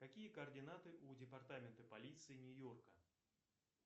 какие координаты у департамента полиции нью йорка